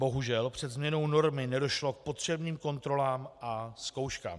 Bohužel před změnou normy nedošlo k potřebným kontrolám a zkouškám.